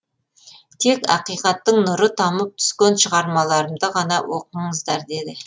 тек ақиқаттың нұры тамып түскен шығармаларымды ғана оқыңыздар деді